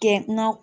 Kɛ na